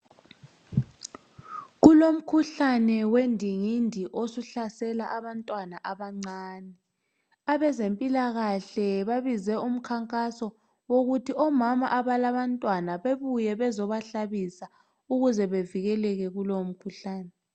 Kulomkhuhlane wendingindi osuhlasela abantwana abancane. Abezempilakahle babize umkhankaso wokuthi omama abalabantwana bebuye bezohlabisa ukuze bavikeleke kulowomkhuhlane.